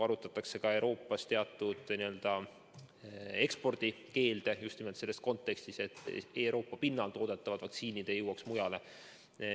Arutatakse ka teatud Euroopast eksportimise keelde – just nimelt selles kontekstis, et Euroopa pinnal toodetavad vaktsiinid ei jõuaks mujale.